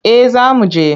Eh za mu je.